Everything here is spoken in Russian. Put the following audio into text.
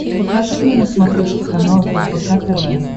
покажи мне на смотрешке канал рбк тв